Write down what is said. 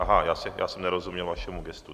Aha, já jsem nerozuměl vašemu gestu.